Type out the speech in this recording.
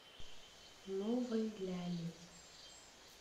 новой ляли